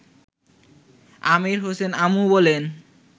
আমির হোসেন আমু বলেন